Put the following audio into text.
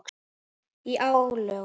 Í lögum